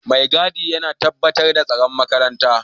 Maigadi yana tabbatar da tsaron makaranta